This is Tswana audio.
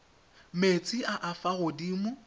metsi a a fa godimo